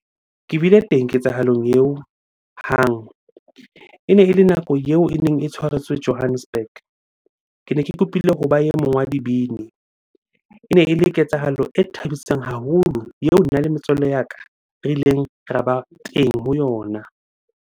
Ke bile teng ketsahalong eo hang. Ene ele nako eo e neng e tshwaretswe Johannesburg. Kene ke kopile hoba e mong wa dibini. Ene ele ketsahalo e thabisang haholo, eo nna le metswalle ya ka re ileng ra ba teng ho yona.